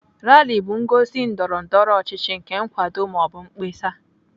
Rali bụ ngosi ndọrọ ndọrọ ọchịchị nke nkwado ma ọ bụ mkpesa